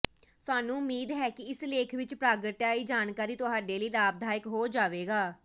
ਸਾਨੂੰ ਉਮੀਦ ਹੈ ਕਿ ਇਸ ਲੇਖ ਵਿਚ ਪ੍ਰਗਟਾਈ ਜਾਣਕਾਰੀ ਤੁਹਾਡੇ ਲਈ ਲਾਭਦਾਇਕ ਹੋ ਜਾਵੇਗਾ